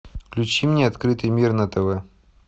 включи мне открытый мир на тв